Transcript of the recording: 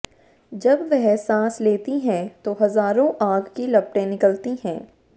जब वह साँस लेती हैं तो हज़ारों आग की लपटें निकलती हैं